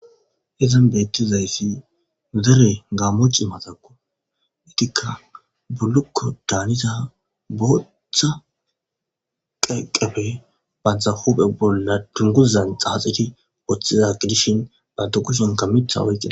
Hezan beettizayssi zere gaammoci matako itikka bullukko daaniza bootththa qeeqefe bantha huphe bolla dunguzan xaaxiti woththiza gidishin banto kushinka mitha oykia